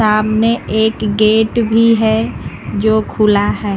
सामने एक गेट भी है जो खुला है।